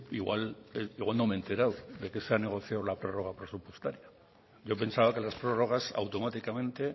igual no me he enterado de que se ha negociado lo prórroga presupuestaria yo pensaba que las prórrogas automáticamente